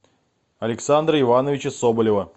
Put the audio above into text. александра ивановича соболева